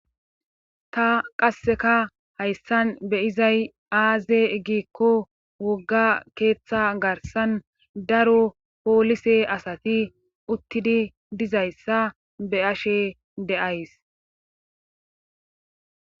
Ta qasseka hayssan be izay aaze giikko wogga keeththa garsan daro poolise asati uttidi dizayssa be ashe deays.